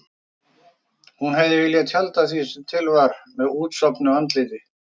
Hún hefði viljað tjalda því sem til var með útsofnu andliti.